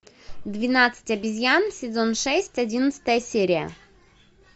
двенадцать обезьян сезон шесть одиннадцатая серия